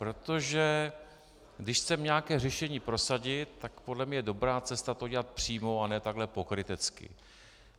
Protože když chceme nějaké řešení prosadit, tak podle mě je dobrá cesta to udělat přímo, a ne takhle pokrytecky.